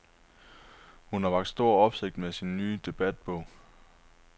Hun har vakt stor opsigt med sin nye debatbog.